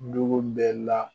Dugu bɛ la